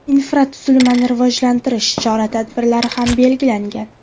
Infratuzilmani rivojlantirish chora-tadbirlari ham belgilangan.